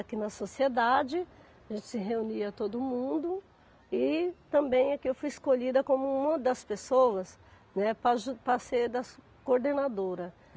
Aqui na Sociedade, a gente se reunia todo mundo e também aqui eu fui escolhida como uma das pessoas, né, para aju para ser das coordenadora.